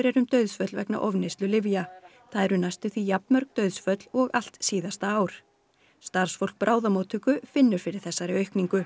er um dauðsföll vegna ofneyslu lyfja það eru næstum því jafn mörg dauðsföll og allt síðasta ár starfsfólk bráðamóttöku finnur fyrir þessari